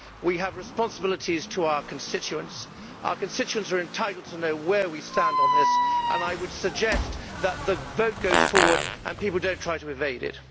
We have responsibilities to our constituents our constituents are entitled to know where we stand on this, and I would suggest that the vote goes forward and people do not try to evade it.